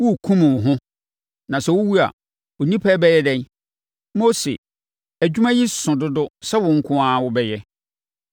Worekum wo ho na sɛ wowu a, nnipa yi bɛyɛ dɛn? Mose, adwuma yi so dodo sɛ wo nko ara wobɛyɛ.